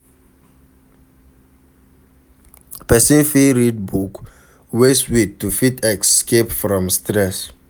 Person fit read book wey sweet to fit escape from stress